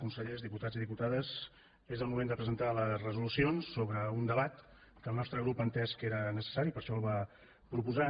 consellers diputats i diputades és el moment de presentar les resolucions sobre un debat que el nostre grup va entendre que era necessari i per això el va proposar